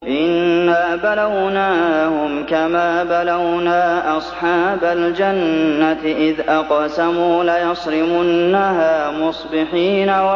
إِنَّا بَلَوْنَاهُمْ كَمَا بَلَوْنَا أَصْحَابَ الْجَنَّةِ إِذْ أَقْسَمُوا لَيَصْرِمُنَّهَا مُصْبِحِينَ